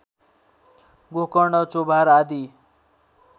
गोकर्ण चोभार आदि